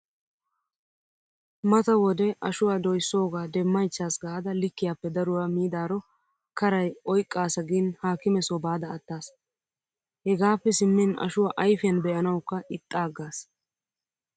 Mata wode ashuwaa doyssoogaa demmaychaas gaada likkiyaappe daruwaa miidaaro karay oyqqaasa gin haakime soo baada attaas. Hegaappe simmin ashuwaa ayfiyaan be'anawukka ixxaaggaas.